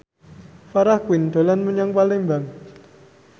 Farah Quinn dolan menyang Palembang